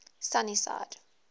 sunnyside